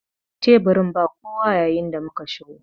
Teburin ba kowa yayin da muka shigo.